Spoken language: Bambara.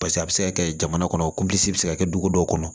Paseke a bɛ se ka kɛ jamana kɔnɔ kunsi bɛ se ka kɛ dugu dɔw kɔnɔ